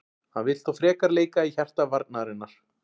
Hann vill þó frekar leika í hjarta varnarinnar.